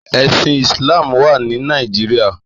Èsín Islam wá ni Nàijiriá